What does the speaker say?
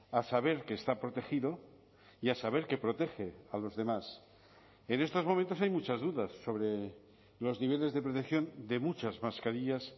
a saber qué está protegido y a saber que protege a los demás en estos momentos hay muchas dudas sobre los niveles de protección de muchas mascarillas